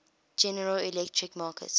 general electric markets